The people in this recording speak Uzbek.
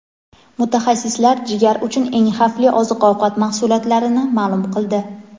Mutaxassislar jigar uchun eng xavfli oziq-ovqat mahsulotlarini ma’lum qildi.